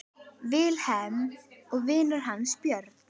Vilhelm og vinur hans Björn.